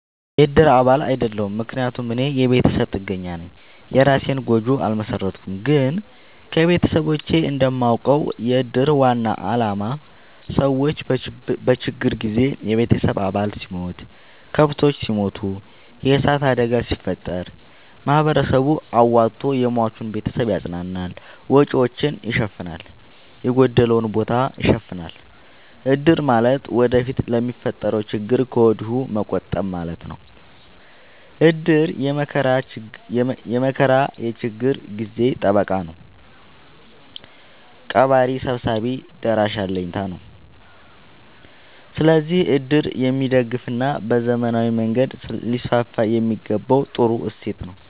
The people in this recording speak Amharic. የእድር አባል አይደለሁም። ምክንያቱም እኔ የቤተሰብ ጥገኛነኝ የእራሴን ጎጆ አልመሠረትኩም። ግን ከቤተሰቦቼ እንደማውቀው። የእድር ዋናው አላማ ሰዎች በችግር ጊዜ የቤተሰብ አባል ሲሞት፤ ከብቶች ሲሞቱ፤ የዕሳት አደጋ ሲፈጠር፤ ማህበረሰቡ አዋቶ የሟችን ቤተሰብ ያፅናናል፤ ወጪወቹን ይሸፋናል፤ የጎደለውን ቦታ ይሸፋናል። እድር ማለት ወደፊት ለሚፈጠረው ችግር ከወዲሁ መቆጠብ ማለት ነው። እድር የመከራ የችግር ጊዜ ጠበቃ ነው። ቀባሪ ሰብሳቢ ደራሽ አለኝታ ነው። ስለዚህ እድር የሚደገፋና በዘመናዊ መንገድ ሊስስፋየሚገባው ጥሩ እሴት ነው።